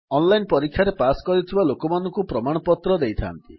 online ପରୀକ୍ଷାରେ pass କରିଥିବା ଲୋକଙ୍କୁ ପ୍ରମାଣପତ୍ର ଦେଇଥାନ୍ତି